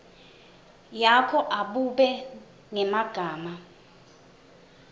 yakho abube ngemagama